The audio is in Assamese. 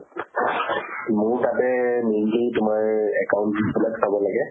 মোৰ তাতে mainly তোমাৰ account বিলাক চাব লাগে।